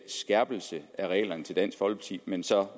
skærpelse af reglerne til dansk folkeparti men så